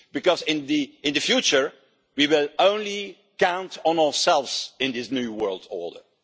Because in the future we will only count on ourselves in this new world order.